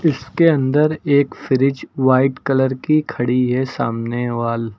इसके अंदर एक फ्रिज व्हाइट कलर की खड़ी है सामने वाल--